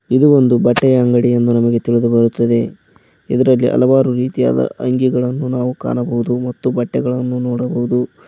ಇದು ಒಂದು ಬಟ್ಟೆಯ ಅಂಗಡಿ ಎಂದು ನಮಗೆ ತಿಳಿದು ಬರುತ್ತದೆ ಇದರಲ್ಲಿ ಹಲವಾರು ರೀತಿಯಾದ ಅಂಗಿಗಳನ್ನು ನಾವು ಕಾಣಬಹುದು ಮತ್ತು ಬಟ್ಟೆಗಳನ್ನು ನೋಡಬಹುದು.